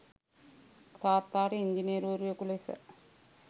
තාත්තාට ඉංජිනේරුවරයකු ලෙස